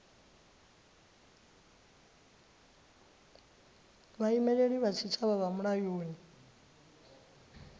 vhaimeleli vha tshitshavha vha mulayoni